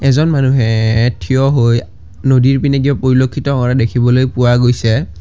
এজন মানুহে থিয় হৈ নদীৰ পিনে কিবা পৰিলক্ষিত কৰা দেখিবলৈ পোৱা গৈছে।